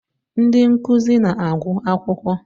Ndị nkuzi na-agwụ akwụkwọ.